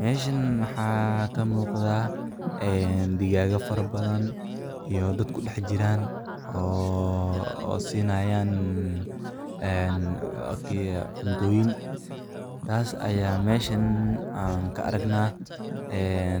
Meeshaan waxaa ka muuqda digaag fara badan iyo dad ku daaqaya oo siinaya cuntooyin. Taas ayaan meeshaan ka aragnaa.